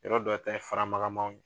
Yɔrɔ dɔ ta ye faramagamanw ye